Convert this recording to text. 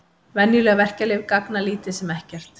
Venjuleg verkjalyf gagna lítið sem ekkert.